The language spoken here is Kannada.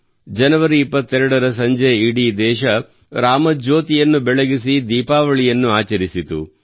ಜನವರಿ 22 ರ ಸಂಜೆ ಇಡೀ ದೇಶವು ರಾಮಜ್ಯೋತಿಯನ್ನು ಬೆಳಗಿಸಿ ದೀಪಾವಳಿಯನ್ನು ಆಚರಿಸಿತು